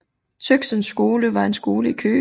Tøxens Skole var en skole i Køge